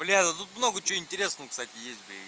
бля ну тут много чего интересного кстати есть бля и